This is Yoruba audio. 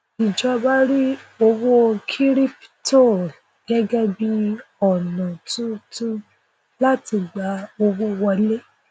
ijọba rí owó kíríptò gẹgẹ bí ọnà tuntun láti gba owó wọlé